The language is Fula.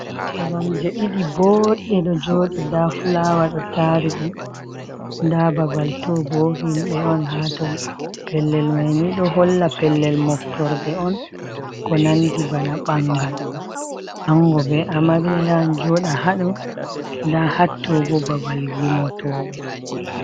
Koromje diɗi bodɗe ɗo joɗi nɗa fulaawa ɗo tari ɗum nda babal to bo himɓe on hato pellel maini do holla pellel moftorde on ko nandi bana ɓangal ango be amarya yaha joɗa hado nda hattobo babal gimotoɓe.